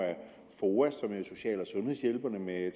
foa som er social og sundhedshjælperne med